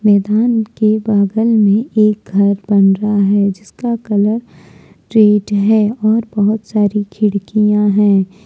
मैदान के बगल में एक घर बन रहा है जिसका कलर रेड है और बहुत सारी खिड़किया है।